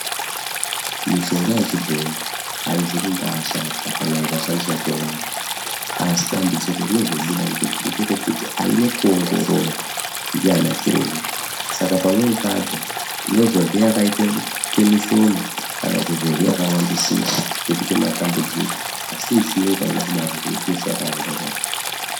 Mishonga yechibhoyi aizikubaashata kana ikashandiswa ngemazvo, asi dambudziko rinozobuda ngerekuti aine kuongororwa naanachiremba saka pamweni pacho tinozorye yakaitemishoma kana yakawaandisisa asi yechiyungu hainakudaro ngekuti yeshe yakaongororwa.